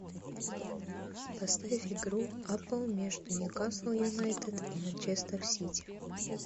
поставь игру апл между ньюкасл юнайтед и манчестер сити